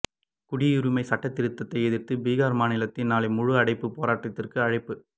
குடியுரிமை சட்டதிருத்தத்தை எதிர்த்து பீகார் மாநிலத்தில் நாளை முழு அடைப்பு பேராட்டத்திற்கு அழைப்பு